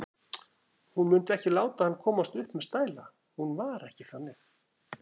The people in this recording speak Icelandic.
Hún mundi ekki láta hann komast upp með stæla, hún var ekki þannig.